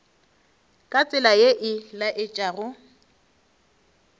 ka tsela ye e laetšago